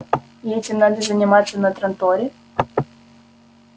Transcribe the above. и этим надо заниматься на транторе